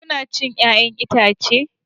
Kuna cin 'ya'yan itace?